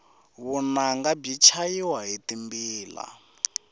vunanga byi chayiwa hi timbila